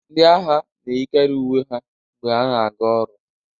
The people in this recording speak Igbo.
ndị agha na-eyikarị uwe ha mgbe ha na-aga ọrụ